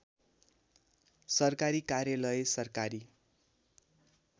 सरकारी कार्यालय सरकारी